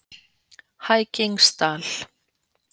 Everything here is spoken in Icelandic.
Hækingsdal